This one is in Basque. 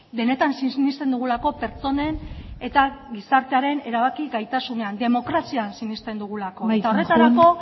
benetan sinesten dugulako pertsonen eta gizartearen erabaki gaitasunean demokrazian sinesten dugulako amaitzen joan eta horretarako